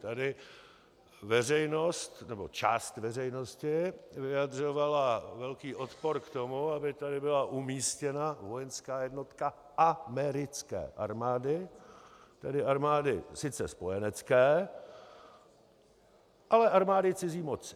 Tady veřejnost, nebo část veřejnosti, vyjadřovala velký odpor k tomu, aby tady byla umístěna vojenská jednotka americké armády, tedy armády sice spojenecké, ale armády cizí moci.